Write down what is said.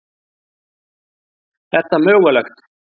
Er það mögulegt?